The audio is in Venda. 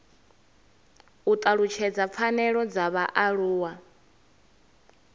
u talutshedza pfanelo dza vhaaluwa